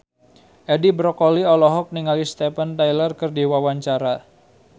Edi Brokoli olohok ningali Steven Tyler keur diwawancara